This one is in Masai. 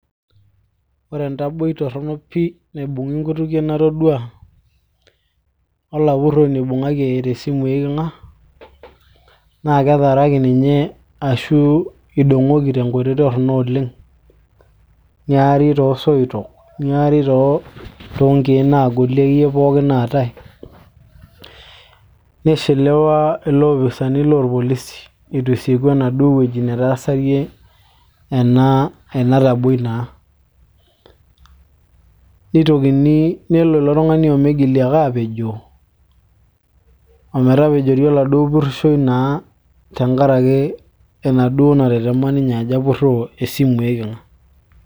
ero entaboi torrono pii naibung'i inkutukie natodua olapurroni oibung'aki eyaita esimu eiking'a naa ketaaraki ninye ashu idong'oki tenkoitoi torrono oleng niari toosoitok, niari toonkek naagoli akeyie pookin naatay nishiliwa iloopisani lorpolisi itu esieku enaduo wueji netaasarie ena ena taboi naa nitokini nelo ilo tung'ani omigili ake apejoo ometapejori oladuo purrishoi naa tenkarake enaduo natetema ninye ajo apurroo esimu eiking'a.